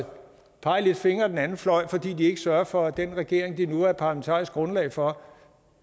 pege fingre af den anden fløj fordi de ikke sørger for at den regering de nu er parlamentarisk grundlag for